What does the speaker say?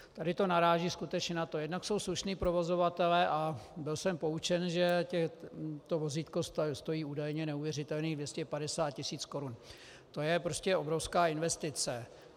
Tady to naráží skutečně na to - jednak jsou slušní provozovatelé, a byl jsem poučen, že to vozítko stojí údajně neuvěřitelných 250 tisíc korun, to je prostě obrovská investice.